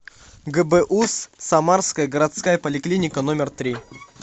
гбуз самарская городская поликлиника номер три